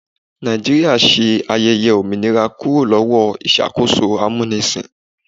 Nàìjíríà ṣe ayẹyẹ òmìnira kúrò lọ́wọ́ ìṣàkóso amúnisìn.